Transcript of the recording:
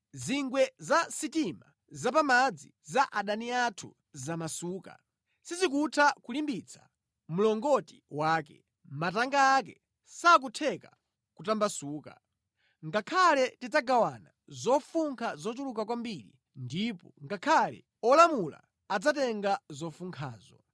Zingwe za sitima zapamadzi za adani athu zamasuka, sizikutha kulimbitsa mlongoti wake, matanga ake sakutheka kutambasuka. Ngakhale tidzagawana zofunkha zochuluka kwambiri ndipo ngakhale olumala adzatenga zofunkhazo.